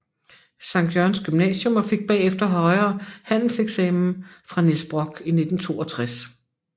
Jørgens Gymnasium og fik bagefter Højere Handelseksamen fra Niels Brock i 1962